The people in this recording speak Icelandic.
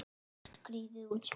Skrýtið útspil.